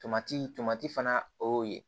Tomati fana o y'o ye